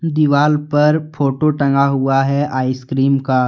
दीवाल पर फोटो टंगा हुआ है आइसक्रीम का।